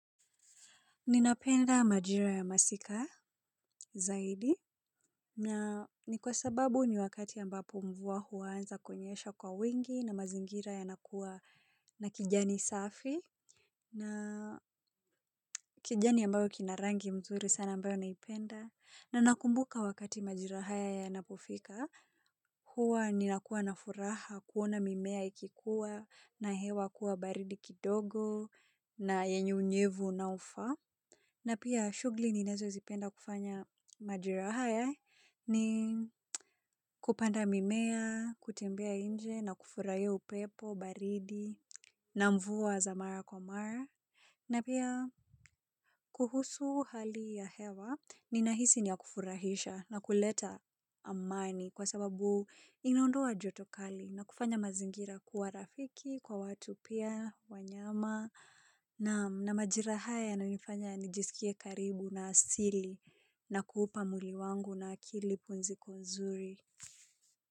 Ninapenda majira ya masika zaidi na ni kwa sababu ni wakati ambapo mvua huanza kuonyesha kwa wingi na mazingira yanakuwa na kijani safi na kijani ambayo kina rangi nzuri sana ambayo naipenda. Na nakumbuka wakati majira haya yanapofika huwa ninakuwa na furaha kuona mimea ikikuwa na hewa kuwa baridi kidogo na yenye unyevu unaofaa. Na pia shughuli ninazozipenda kufanya majira haya ni kupanda mimea, kutembea nje na kufurahia upepo, baridi, na mvua za mara kwa mara. Na pia kuhusu hali ya hewa ninahisi ni ya kufurahisha na kuleta amani kwa sababu inaondoa jotokali na kufanya mazingira kuwa rafiki kwa watu pia wanyama. Na majira haya yananifanya nijisikie karibu na asili na kuupa mwili wangu na akili pumziko nzuri.